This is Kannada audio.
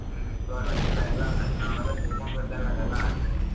ಹ್ಮ್ ಇವಾಗದಿಲ್ಲ ಅದು ತಣ್ಣ ನಾವ್ ಚಿಕ್ಕ್ ಮಕ್ಲಿದಗ್ಗ ಅದೆಲ್ಲ.